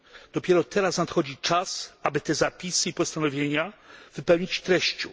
Dopiero teraz nadchodzi czas, aby te zapisy i postanowienia wypełnić treścią.